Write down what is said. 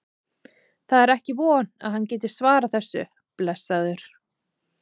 Það er ekki von að hann geti svarað þessu, blessaður.